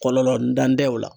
Kɔlɔlɔ ntan tɛ o la.